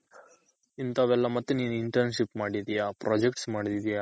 ಇಂತವೆಲ್ಲ ಮತ್ತೆ ನೀನು Internship ಮಾಡಿದ್ಯ projects ಮಾಡಿದ್ಯ.